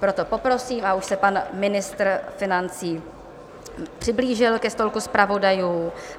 Proto poprosím - a už se pan ministr financí přiblížil ke stolku zpravodajů.